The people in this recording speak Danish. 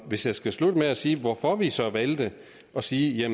hvis jeg skal slutte af med at sige hvorfor vi så valgte at sige